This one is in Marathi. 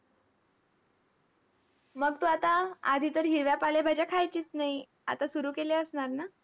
मग तू आता आधी तर हिरव्या पालेभाज्या खायचीच नाही. आता सुरु केल्या असणार ना?